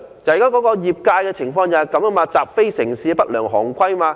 可是，業界的情況就是這樣習非成是，奉行不良行規。